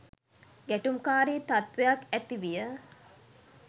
ගැටුම්කාරී තත්වයක් ඇති විය